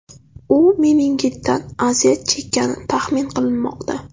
U meningitdan aziyat chekkani taxmin qilinmoqda.